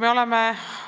Me oleme